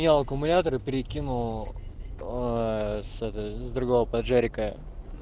аккумуляторы перекину с другого паджерика